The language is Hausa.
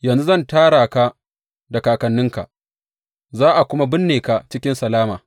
Yanzu zan tara ka da kakanninka, za a kuma binne ka cikin salama.